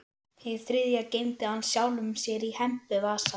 Hið þriðja geymdi hann sjálfum sér í hempuvasa.